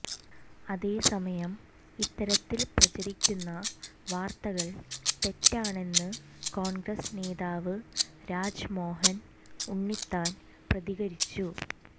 അതേസമയം ഇത്തരത്തിൽ പ്രചരിക്കുന്ന വാർത്തകൾ തെറ്റാണെന്ന് കോൺഗ്രസ് നേതാവ് രാജ്മോഹൻ ഉണ്ണിത്താൻ പ്രതികരിച്ചു